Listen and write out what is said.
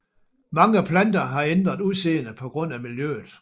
Mange planter har ændret udseende på grund af miljøet